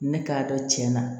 Ne k'a dɔn cɛn na